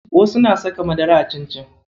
Wasu na saka madara a cincin.